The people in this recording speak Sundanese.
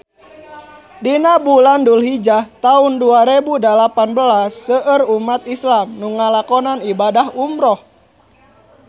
Dina bulan Dulhijah taun dua rebu dalapan belas seueur umat islam nu ngalakonan ibadah umrah